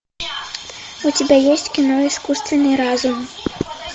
у тебя есть кино искусственный разум